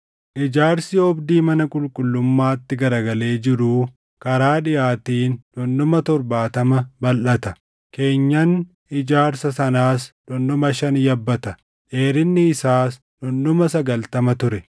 Ijaarsi oobdii mana qulqullummaatti garagalee jiruu karaa dhiʼaatiin dhundhuma torbaatama balʼata. Keenyan ijaarsa sanaas dhundhuma shan yabbata; dheerinni isaas dhundhuma sagaltama ture.